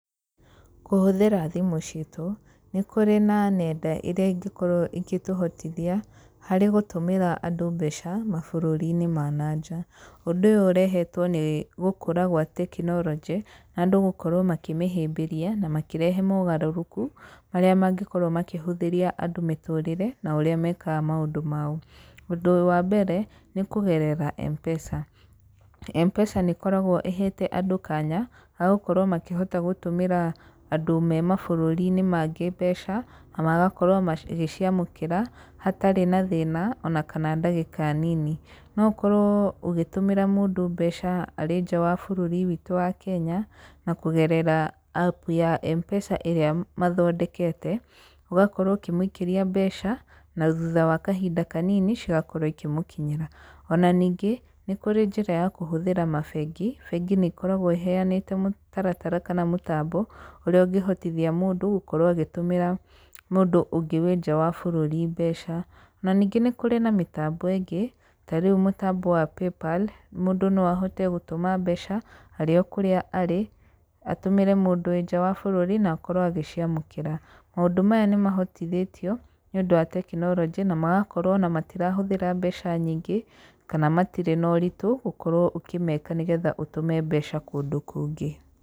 Kũhũthĩra thimũ citũ, nĩ kũrĩ na nenda iria ingĩkorwo igĩtũhotithia harĩ gũtũmĩra andũ mbeca mabũrũri-inĩ ma na nja. Ũndũ ũyũ ũrehetwo nĩ gũkũra gwa tekinoronjĩ na andũ gũkorwo makĩmĩhĩmbĩria na makĩrehe mogarũrũku marĩa mangĩkorwo makĩhũthĩria andũ mĩtũrĩre na ũrĩa mekaga maũndũ mao. Ũndũ wa mbere nĩ kũgerera Mpesa. Mpesa nĩĩkoragwo ĩhete andũ kanya ga gũkorwo makĩhota gũtũmĩra andũ me mabũrũri-inĩ mangĩ mbeca na magakorwo magĩciamũkĩra hatarĩ na thĩna ona kana ndagĩka nini. No ũkorwo ũgĩtũmĩra mũndũ mbeca arĩ nja wa bũrũri witũ wa Kenya na kũgerera apu ya Mpesa ĩrĩa mathondekete. Ũgakorwo ũkĩmũikĩria mbeca, na thutha wa kahinda kanini cigakorwo ikĩmũkinyĩra. Ona ningĩ, nĩ kũrĩ njĩra ya kũhũthĩra mabengi. Bengi nĩikoragwo iheanĩte mũtaratara kana mũtambo ũrĩa ũngĩhotithia mũndũ gũkorwo agĩtũmĩra mũndũ ũngĩ wĩ nja wa bũrũri mbeca. Na ningĩ nĩ kũrĩ na mĩtambo ĩngĩ, tarĩu mũtambo wa Paypal, mũndũ no ahote gũtũma mbeca arĩ o kũrĩa arĩ, atũmĩre mũndũ wĩ nja wa bũrũri na akorwo agĩciamũkĩra. Maũndũ maya nĩmahotithĩtio nĩũndũ wa tekinoronjĩ na magakorwo ona matirahũthĩra mbeca nyingĩ kana matirĩ na ũritũ gũkorwo ũkĩmeka nĩgetha ũtũme mbeca kũndũ kũngĩ.